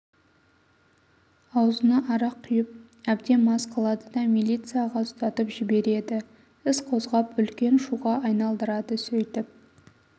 аузына арақ құйып әбден мас қылады да милицияға ұстатып жібереді іс қозғап үлкен шуға айналдырады сөйтіп